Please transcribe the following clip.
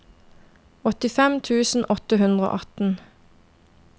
åttifem tusen åtte hundre og atten